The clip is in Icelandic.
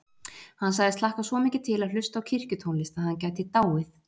Hann sagðist hlakka svo mikið til að hlusta á kirkjutónlist að hann gæti dáið.